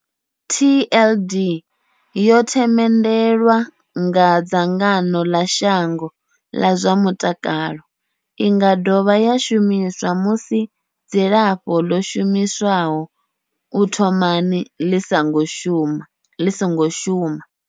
TLD yo themendelwa nga dzangano ḽa shango ḽa zwa mutakalo. I nga dovha ya shumiswa musi dzilafho ḽo shumiswaho u thomani ḽi songo shuma.